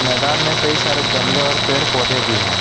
मैदान में कई सारे गमले और पेड़ पौधे भी हैं।